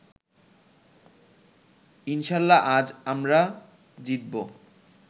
ইনশাল্লাহ আজ আমরা জিতবো